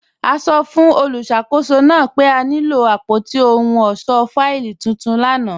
A sọ́ fun olúṣakòsó naa pe a nilo apótí òhùn ọṣọ́ fáìlì tuntun lána.